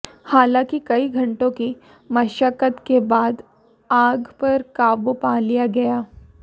हालांकि कई घंटों की मशक्कत के बाद आग पर काबू पा लिया गया